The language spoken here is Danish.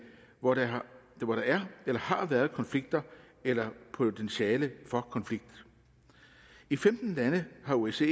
hvor der er eller har været konflikter eller potentiale for konflikt i femten lande har osce